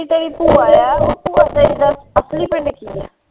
ਜਿਹੜੀ ਬੁਆ ਹੈ